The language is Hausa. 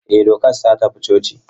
Ee, Dokas ta tafi coci.